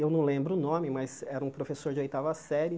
Eu não lembro o nome, mas era um professor de oitava série,